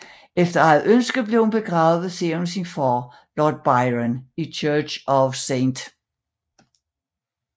Efter eget ønske blev hun begravet ved siden at sin far Lord Byron i Church of St